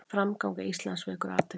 Framganga Íslands vekur athygli